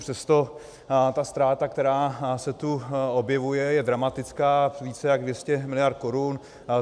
Přesto ta ztráta, která se tu objevuje, je dramatická, více jak 200 miliard korun.